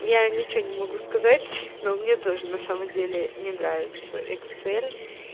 я ничего не могу сказать но мне тоже на самом деле не нравится эксель